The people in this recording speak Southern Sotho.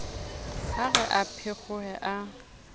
ha re a phekgohe a